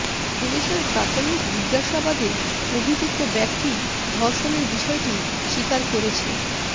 পুলিশের প্রাথমিক জিজ্ঞাসাবাদে অভিযুক্ত ব্যক্তি ধর্ষণের বিষয়টি স্বীকার করেছে